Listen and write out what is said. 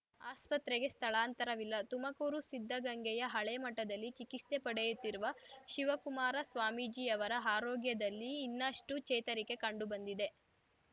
ಆಸ್ಪತ್ರೆಗೆ ಸ್ಥಳಾಂತರವಿಲ್ಲ ತುಮಕೂರು ಸಿದ್ಧಗಂಗೆಯ ಹಳೆ ಮಠದಲ್ಲಿ ಚಿಕಿತ್ಸೆ ಪಡೆಯುತ್ತಿರುವ ಶಿವಕುಮಾರ ಸ್ವಾಮೀಜಿಯವರ ಆರೋಗ್ಯದಲ್ಲಿ ಇನ್ನಷ್ಟುಚೇತರಿಕೆ ಕಂಡುಬಂದಿದೆ